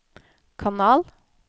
kanal